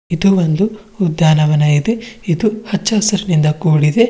ಮತ್ತು ಒಂದು ಉದ್ಯಾನವನವಿದೆ ಇದು ಹಚ್ಚ ಹಸಿರಿನಿಂದ ಕೂಡಿದೆ.